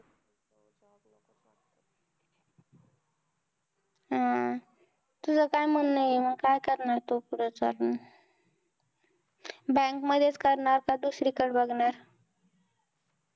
हम्म तुझं काय म्हणणं आहे काय करणार तु पुढे चालून bank मध्येच करणार का कि दुसरीकडे बघणार